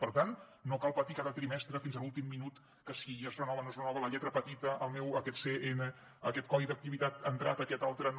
per tant no cal patir cada trimestre fins a l’últim minut que si es renova no es renova la lletra petita aquest codi d’activitat ha entrat aquest altre no